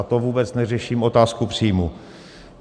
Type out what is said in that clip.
A to vůbec neřeším otázku příjmů.